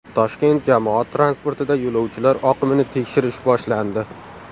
Toshkent jamoat transportida yo‘lovchilar oqimini tekshirish boshlandi.